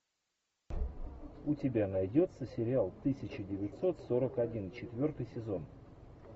у тебя найдется сериал тысяча девятьсот сорок один четвертый сезон